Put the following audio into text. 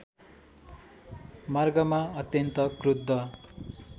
मार्गमा अत्यन्त क्रुद्ध